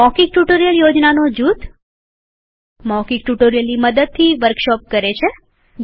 મૌખિક ટ્યુટોરીયલ યોજનાનો જૂથ મૌખિક ટ્યુટોરીયલની મદદથી વર્કશોપ કરીએ છીએ